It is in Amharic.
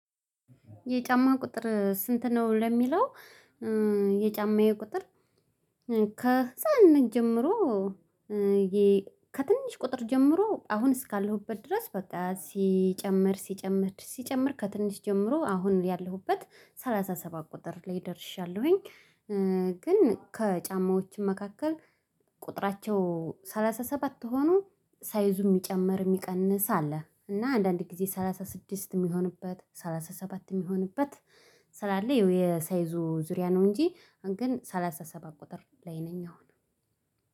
የጫማ ቁጥር ስንት ነው ለሚለው? የጫማዬ ቁጥር ከሕፃንነት ጀምሮ ከትንሽ ቁጥር ጀምሮ አሁን እስካለሁበት ድረስ በቃ ሲጨምር ሲጨመር ሲጨመር ከትንሽ ጀምሮ አሁን ያለሁበት ሰላሳ ሰባት ቁጥር ላይ ደርሻለሁኝ። ግን ከጫማዎችም መካከል ቁጥራቸው ሰላሳ ሰባት ሆኖ ሳይዙ የሚጨምር የሚቀንስ አለ። እና አንዳንድ ጊዜ ሰላሳ ስድስት የሚሆንበት ሰላሳ ሰባት የሚሆንበት ስላለ የሳይዙ ዙሪያ ነው እንጂ ግን ሰላሳ ሰባት ቁጥር ላይ ነኝ አሁን።